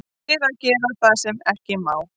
Til að gera það sem ekki má.